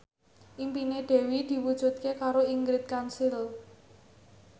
impine Dewi diwujudke karo Ingrid Kansil